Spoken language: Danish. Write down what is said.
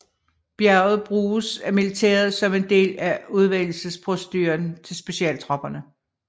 Bjerget bruges af militæret som en del af udvælgelsesproceduren til specialtropperne